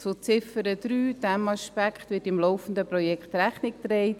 Dem Aspekt in Ziffer 3 wird im laufenden Projekt Rechnung getragen.